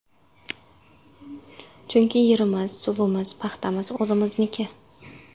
Chunki yerimiz, suvimiz, paxtamiz o‘zimizniki.